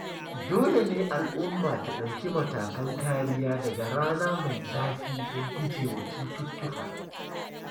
Dole ne al'umma ta ɗauki matakan kariya daga rana mai zafi don gujewa cututtuka.